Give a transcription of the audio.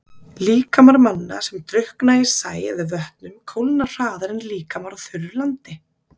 Líkamar manna, sem drukkna í sæ eða vötnum kólna hraðar en líkamar á þurru landi.